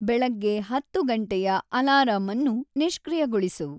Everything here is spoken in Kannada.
ಬೆಳಗ್ಗೆ ಹತ್ತು ಗಂಟೆಯ ಅಲಾರಾಂ ಅನ್ನು ನಿಷ್ಕ್ರಿಯಗೊಳಿಸು